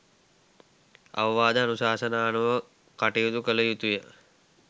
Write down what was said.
අවවාද අනුශාසනා අනුව කටයුතු කළ යුතුය.